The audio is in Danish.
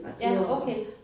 Ja okay